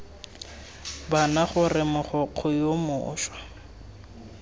bana gore mogokgo yo mošwa